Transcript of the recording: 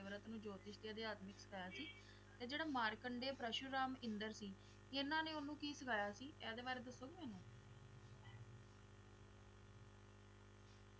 ਜੋਤਿਸ਼ ਵਿਦਿਆ ਵੀ ਸਿਖਾਏ ਸੀ ਤੇ ਜਿਹੜੇ ਮਾਰਕੰਡੇ ਪਰਸ਼ੂਰਾਮ ਸੀ ਇਹਨਾਂ ਨੇ ਉਹਨੂੰ ਕਿ ਸਿਖਾਇਆ ਸੀ ਇਹਦੇ ਬਾਰੇ ਦੱਸੋਗੇ